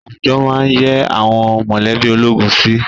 Àwùjọ máá ń yẹ́ àwọn mọ̀lẹ́bí ológun sí